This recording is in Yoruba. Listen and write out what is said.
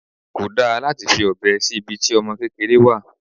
Kò dá láti fi ọbẹ sí ibi tí ọmọ kékeré wà.